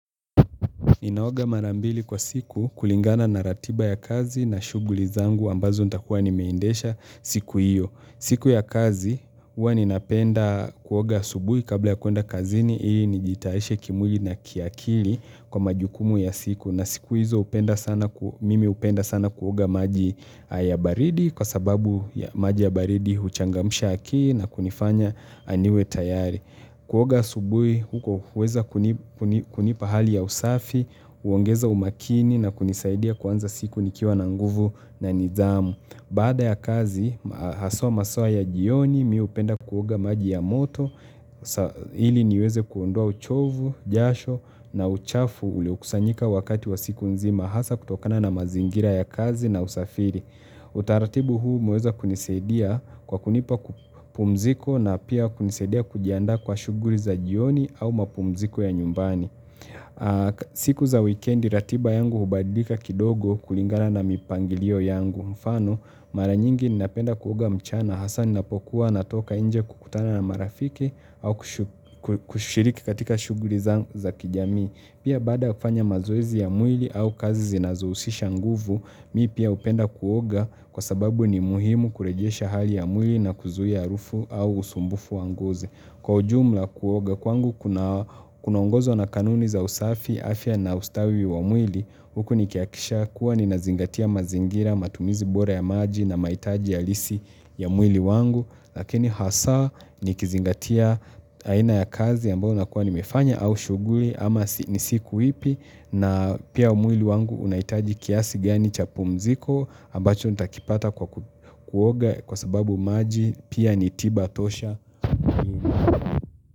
Ninaoga mara mbili kwa siku kulingana na ratiba ya kazi na shuguli zangu ambazo nitakuwa nimeindesha siku iyo. Siku ya kazi, uwa ninapenda kuoga subuhi kabla ya kuenda kazini, ii nijitaeshe kimuli na kiakili kwa majukumu ya siku. Na siku hizo upenda sana, mimi upenda sana kuoga maji ya baridi kwa sababu maji ya baridi huchangamsha akili na kunifanya niwe tayari. Kuoga asubui, huko uweza kuni kunipa hali ya usafi, uongeza umakini na kunisaidia kuanza siku nikiwa na nguvu na nizamu. Bada ya kazi, haswa maswa ya jioni, mi upenda kuoga maji ya moto, sa ili niweze kuondoa uchovu, jasho na uchafu uliokusanyika wakati wa siku nzima, hasa kutokana na mazingira ya kazi na usafiri. Utaratibu huu umeweza kunisedia kwa kunipa ku pumziko na pia kunisedia kujiandaa kwa shughuri za jioni au mapumziko ya nyumbani siku za wikendi ratiba yangu hubadika kidogo kulingana na mipangilio yangu mfano mara nyingi ninapenda kuoga mchana hasa ninapokuwa natoka inje kukutana na marafiki au kushiriki katika shuguri za kijamii Pia baada kufanya mazoezi ya mwili au kazi zinazousisha nguvu, mii pia upenda kuoga kwa sababu ni muhimu kurejiesha hali ya mwili na kuzuia arufu au usumbufu wa ngozi. Kwa ujumla kuoga, kwangu kunaongozo na kanuni za usafi, afya na ustawi wa mwili, huku nikiakisha kuwa ninazingatia mazingira, matumizi bora ya maji na mahitaji ya lisi ya mwili wangu. Lakini hasa nikizingatia aina ya kazi ambao nakuwa nimefanya au shughuli ama ni siku ipi na pia mwili wangu unaitaji kiasi gani cha pumziko ambacho nitakipata kwa kuoga kwa sababu maji pia ni tiba tosha.